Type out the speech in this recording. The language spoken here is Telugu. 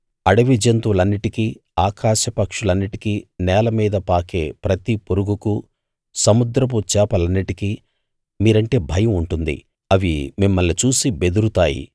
అడవి జంతువులన్నిటికీ ఆకాశ పక్షులన్నిటికీ నేల మీద పాకే ప్రతి పురుగుకూ సముద్రపు చేపలన్నిటికీ మీరంటే భయం ఉంటుంది అవి మిమ్మల్ని చూసి బెదురుతాయి